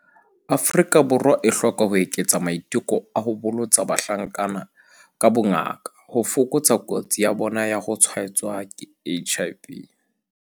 Afrika Borwa e hloka ho eketsa maiteko a ho bolotsa bahlankana ka bongaka ho fokotsa kotsi ya bona ya ho tshwaetswa ke HIV.